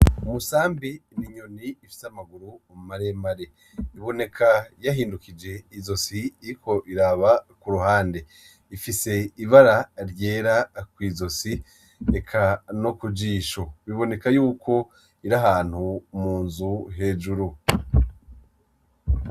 Umusambi n'inyoni ifise amaguru maremare biboneka ko yahindukije izosi iriko iraba kuruhande. Ifise ibara ryera kw’izosi eka nokujisho biboneka yuko iri ahantu munzu hejuru.